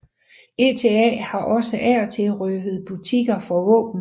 ETA har også af og til røvet butikker for våben